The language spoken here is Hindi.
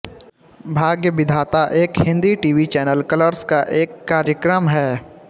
भाग्य विधाता एक Hindi T V channel Colors का एक कार्यक्रम है